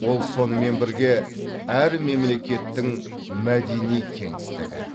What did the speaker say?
ол сонымен бірге әр мемлекеттің мәдени кеңістігі